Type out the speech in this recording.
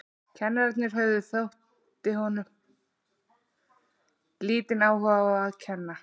Kennararnir höfðu, þótti honum, lítinn áhuga á að kenna.